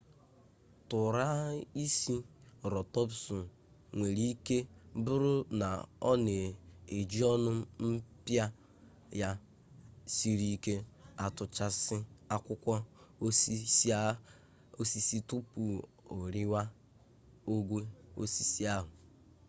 tụraịserotọpsụ nwere ike bụrụ na ọ na-eji ọnụ mpịa ya siri ike atụchasị akwụkwọ osisi tupu o riwe ogwe osisi ahụ